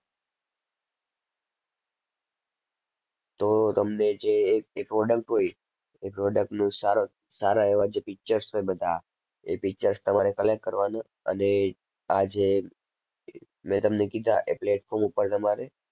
તો તમને જે એ એ product હોય એ product નું સાર~સારા એવા જે pictures છે બધા એ pictures તમારે collect કરવાના અને આ જે મેં તમને કીધા એ platform ઉપર તમારે